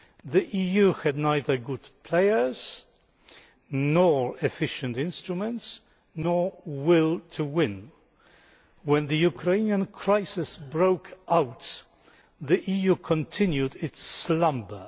The EU had neither good players nor efficient instruments, nor the will to win. When the Ukrainian crisis broke out, the EU continued its slumber.